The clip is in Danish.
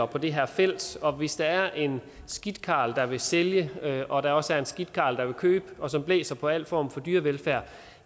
på det her felt og hvis der er en skidt karl der vil sælge og der også er en skidt karl der vil købe og som blæser på al form for dyrevelfærd